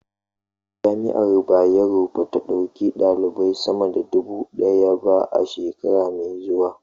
Jami'ar Bayero ba ta ɗauki ɗalibai sama da duba ɗaya ba shekara mai zuwa